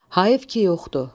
Hayıf ki yoxdur.